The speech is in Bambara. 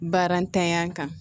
Baara ntanya kan